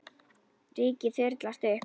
Rykið þyrlast upp.